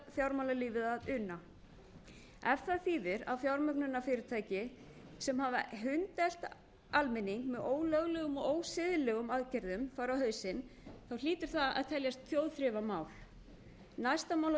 fjármálalífið að una ef það þýðir að fjármögnunarfyrirtæki sem hafa hundelt almenning með ólöglegum og ósiðlegum aðgerðum fara á hausinn hlýtur það að teljast þjóðþrifamál næsta mál á dagskrá